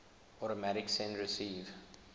automatic send receive